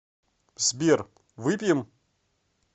сбер выпьем